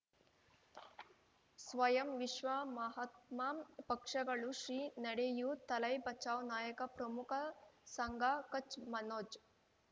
ಸ್ವಯಂ ವಿಶ್ವ ಮಹಾತ್ಮ ಪಕ್ಷಗಳು ಶ್ರೀ ನಡೆಯೂ ತಲೈ ಬಚೌ ನಾಯಕ ಪ್ರಮುಖ ಸಂಘ ಕಚ್ ಮನೋಜ್